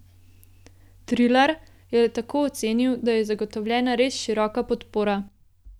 Trilar je tako ocenil, da je zagotovljena res široka podpora.